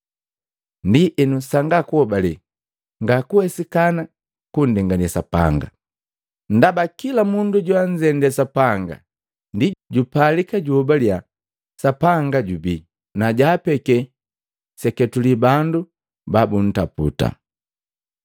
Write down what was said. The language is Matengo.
Ndienu, sanga kuhobale nga kuwesikana kundengane Sapanga. Ndaba kila mundu joanzende Sapanga ndi jupalika juhobalia Sapanga jubii, na jaapeki seketule bandu babuntaputa.